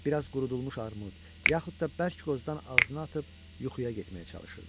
Bir az qurudulmuş armud, yaxud da bərk qozdan ağzına atıb yuxuya getməyə çalışırdı.